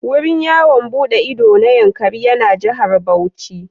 Wurin yawon buɗe ido na Yankari yana Jihar Bauchi.